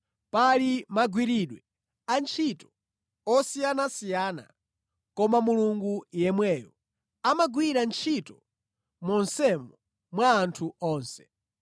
Pali magwiridwe antchito osiyanasiyana, koma Mulungu yemweyo amagwira ntchito monsemo mwa anthu onse.